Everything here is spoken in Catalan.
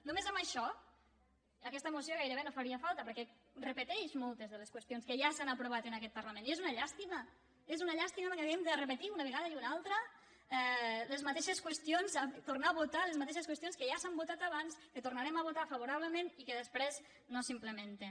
només amb això aquesta moció gairebé no faria falta perquè repeteix moltes de les qüestions que ja s’han aprovat en aquest parlament i és una llàstima és una llàstima que hàgim de repetir una vegada i una altra les ma·teixes qüestions tornar a votar les mateixes qüestions que ja s’han votat abans que tornarem a votar favora·blement i que després no s’implementen